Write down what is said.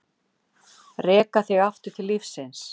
Reka þig aftur til lífsins.